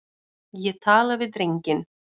Ég tala við drenginn.